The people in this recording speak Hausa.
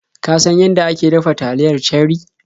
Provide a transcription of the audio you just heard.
Ka san yanda ake dafa taliyar Cherie?